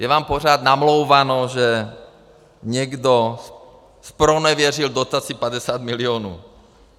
Je vám pořád namlouváno, že někdo zpronevěřil dotaci 50 milionů.